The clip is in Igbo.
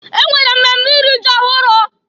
E nwere mmemme iri ji ọhụrụ.